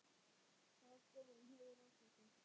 Hvaða skoðun hefurðu á þessu?